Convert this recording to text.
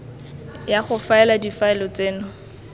ya go faela difaele tseno